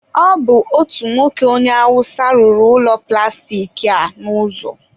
ọ bụ otu nwoke onye awụsa rụrụ ụlọ plastik a n'ụzọ.